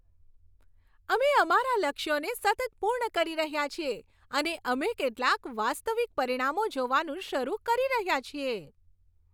અમે અમારા લક્ષ્યોને સતત પૂર્ણ કરી રહ્યા છીએ અને અમે કેટલાક વાસ્તવિક પરિણામો જોવાનું શરૂ કરી રહ્યા છીએ.